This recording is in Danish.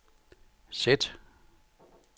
sæt